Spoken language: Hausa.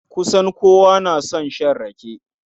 Kusan kowa na son shan rake.